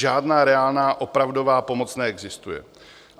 Žádná reálná, opravdová pomoc neexistuje.